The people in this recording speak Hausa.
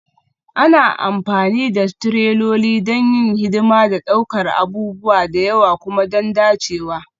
Ana amfani da tireloli don yin hidima da ɗaukar abubuwa da yawa kuma don dacewa